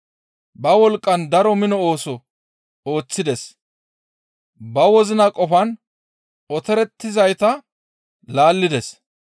Ba wolqqan daro mino ooso ooththides; ba wozina qofan otorettizayta laallides.